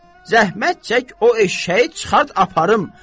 Zəhmət çək o eşşəyi çıxart aparım!